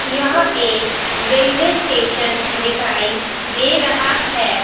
यह एक railway station दिखाई दे रहा है.